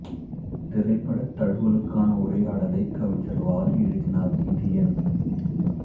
திரைப்பட தழுவலுக்கான உரையாடலை கவிஞர் வாலி எழுதினார் இது என்